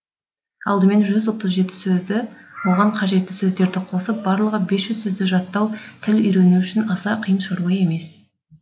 алдымен жүз отыз жеті сөзді оған қажетті сөздерді қосып барлығы бес жүз сөзді жаттау тіл үйрену үшін аса қиын шаруа емес